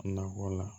Nakɔ la